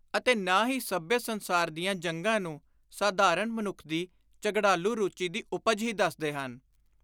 ਅਤੇ ਨਾ ਹੀ ਸੱਭਿਅ ਸੰਸਾਰ ਦੀਆਂ ਜੰਗਾਂ ਨੂੰ ਸਾਧਾਰਣ ਮਨੁੱਖ ਦੀ ਝਗੜਾਲੁ ਰੂਚੀ ਦੀ ਉਪਜ ਹੀ ਦੱਸਦੇ ਹਨ।